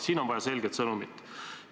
Siin on vaja selget sõnumit.